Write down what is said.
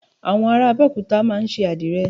Àwọn ará Abẹ́òkúta máa ń ṣe Àdìrẹ